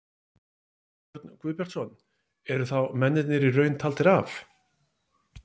Jón Örn Guðbjartsson: Eru þá mennirnir í raun taldir af?